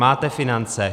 Máte finance.